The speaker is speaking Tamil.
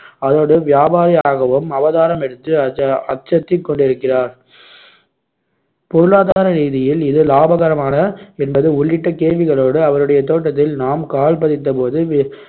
அதோடு வியாபாரியாகவும் அவதாரமெடுத்து அச்ச~ அச்சத்திக் கொண்டிருக்கிறார் பொருளாதார ரீதியில் இது லாபகரமான என்பது உள்ளிட்ட கேள்விகளோடு அவருடைய தோட்டத்தில் நாம் கால் பதித்தபோது